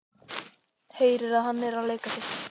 Heyrir að hann er að leika sér.